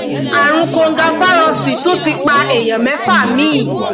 àrùn kòǹgafagarósóì tún ti pa èèyàn mẹfà mi